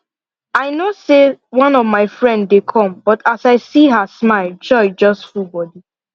i no know say one of my friend dey come but as i see her smile joy just full body